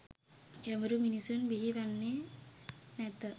ගැඹුරු මිනිසුන් බිහි වෙන්නේ නැත